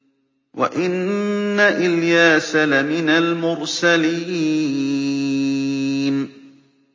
وَإِنَّ إِلْيَاسَ لَمِنَ الْمُرْسَلِينَ